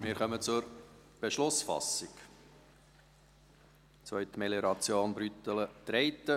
Wir kommen zur Beschlussfassung, Zweitmelioration Brüttelen-Treiten.